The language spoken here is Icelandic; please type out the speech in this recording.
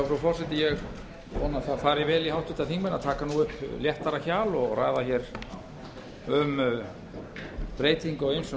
frú forseti ég vona að það fari vel í háttvirtir þingmenn að taka nú upp léttara hjal og ræða hér um breyting á ýmsum